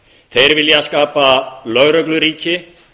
þeir vilja skapa lögregluríki